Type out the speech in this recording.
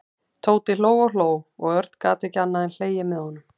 Tóti hló og hló og Örn gat ekki annað en hlegið með honum.